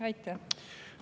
Aitäh!